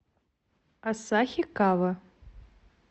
асахикава